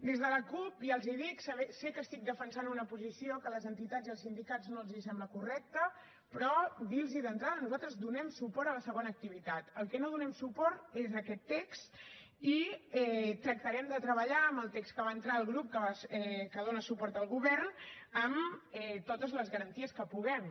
des de la cup ja els hi dic sé que estic defensant una posició que a les entitats i als sindicats no els sembla correcta però dirlos d’entrada nosaltres donem suport a la segona activitat al que no donem suport és a aquest text i tractarem de treballar en el text que va entrar el grup que dona suport al govern amb totes les garanties que puguem